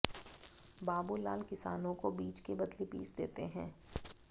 बाबूलाल किसानों को बीज के बदले बीज देते हैं